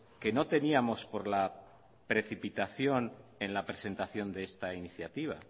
que no teníamos por la precipitación en la presentación de esta iniciativa